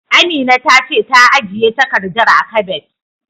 Amina ta ce ta ajiye takardar a kabet.